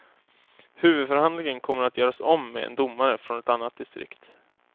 Huvudförhandlingen kommer att göras om med en domare från ett annat distrikt.